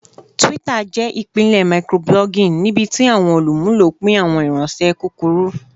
Twitter jẹ ipilẹ microblogging nibiti awọn olumulo pin awọn ifiranṣẹ kukuru